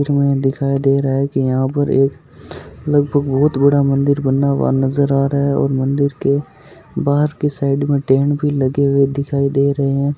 इसमें दिखाई दे रहा है की यहाँ पर एक लगभग बहुत बड़ा मंदिर बना हुआ नजर आ रहा है और मंदिर के बाहर की साइड में टेंट भी लगे हुए दिखाई दे रहे है।